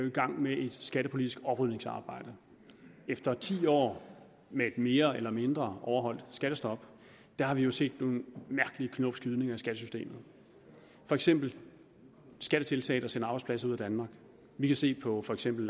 i gang med et skattepolitisk oprydningsarbejde efter ti år med et mere eller mindre overholdt skattestop har vi jo set nogle mærkelige knopskydninger i skattesystemet for eksempel skattetiltag der sender arbejdspladser ud af danmark vi kan se det på for eksempel